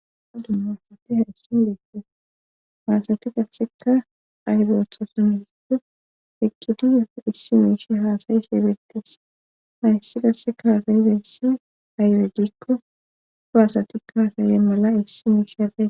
Ha dumma asati hayissin beetes haasati qasseka aheza ooththasunhiigo eqqiti yu issi miishi haasayi sheebeettes hayssi qasseka haasayiza issi ayre gikko do hasatikka haasayize mala issi miishe haasa.